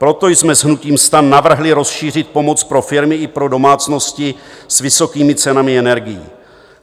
Proto jsme s hnutím STAN navrhli rozšířit pomoc pro firmy i pro domácnosti s vysokými cenami energií.